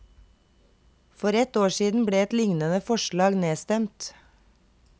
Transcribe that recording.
For ett år siden ble et lignende forslag nedstemt.